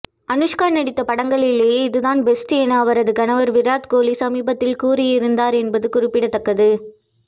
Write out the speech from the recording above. அனுஷ்கா நடித்த படங்களிலே இதுதான் பெஸ்ட் என்று அவரது கணவர் விராத் கோஹ்லி சமீபத்தில் கூறியிருந்தார் என்பது குறிப்பிடத்தக்கது